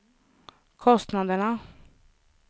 kostnaderna